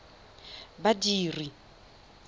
badiri